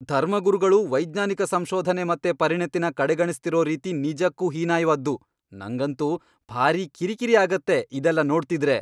ಧರ್ಮಗುರುಗಳು ವೈಜ್ಞಾನಿಕ ಸಂಶೋಧನೆ ಮತ್ತೆ ಪರಿಣತಿನ ಕಡೆಗಣಿಸ್ತಿರೋ ರೀತಿ ನಿಜಕ್ಕೂ ಹೀನಾಯ್ವಾದ್ದು, ನಂಗಂತೂ ಭಾರೀ ಕಿರಿಕಿರಿ ಆಗತ್ತೆ ಇದೆಲ್ಲ ನೋಡ್ತಿದ್ರೆ.